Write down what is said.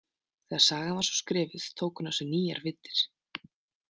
Þegar sagan var svo skrifuð tók hún á sig nýjar víddir.